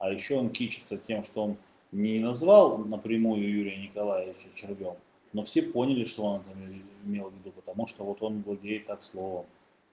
а ещё он хвастается тем что он не назвал напрямую юрия николаевича червём но все поняли что он там имел в виду потому что вот он владеет так словом